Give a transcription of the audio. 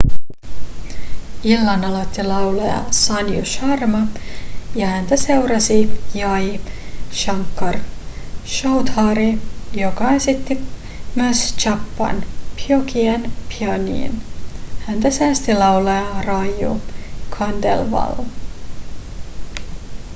illan aloitti laulaja sanju sharma ja häntä seurasi jai shankar choudhary joka esitti myös chhappan bhogien bhajanin häntä säesti laulaja raju khandelwal